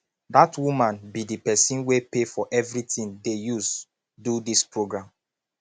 dat woman be the person wey pay for everything dey use do dis programme